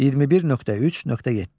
21.3.7.